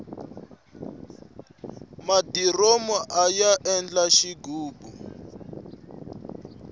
madiromu aya endla xighubu